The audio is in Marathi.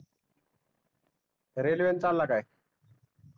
रेलवे नि चालला काय